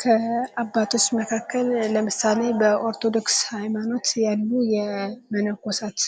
ከአባቶች መካከል ለምሳሌ በኦርቶዶክስ ሃይማኖት ያሉ መነኮሳት